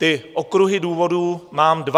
Ty okruhy důvodů mám dva.